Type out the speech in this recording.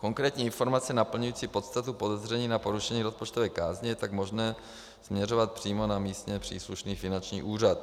Konkrétní informace naplňující podstatu podezření na porušení rozpočtové kázně je tak možné směřovat přímo na místně příslušný finanční úřad.